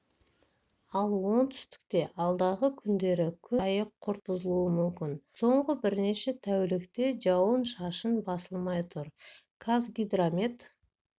ал оңтүстікте алдағы күндері күн райы күрт бұзылуы мүмкін соңғы бірнеше тәулікте жауын-шашын басылмай тұр қазгидромет